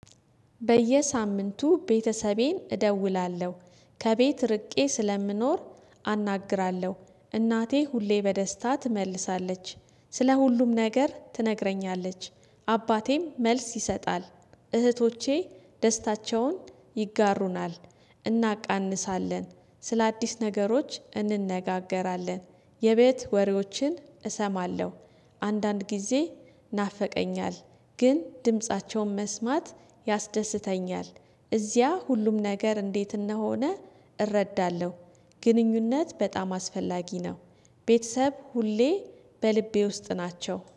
በየሳምንቱ ቤተሰቤን እደውላለሁ ከቤት ርቄ ስለምኖር አናግራለሁ። እናቴ ሁሌ በደስታ ትመልሳለች ስለ ሁሉም ነገር ትነግረኛለች። አባቴም መልስ ይሰጣል። እህቶቼ ደስታቸውን ይጋሩናል እናቃንሳለን ስለአዲስ ነገሮች እንነጋገራለን። የቤት ወሬዎችን እሰማለሁ። አንዳንድ ጊዜ ይናፈቀኛል። ግን ድምፃቸውን መስማት ያስደስተኛል። እዚያ ሁሉም ነገር እንዴት እንደሆነ እረዳለሁ። ግንኙነት በጣም አስፈላጊ ነው። ቤተሰብ ሁሌ በልቤ ውስጥ ናቸው